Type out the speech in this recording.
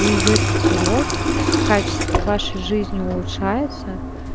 вы идёте вперёд качество вашей жизни улучшается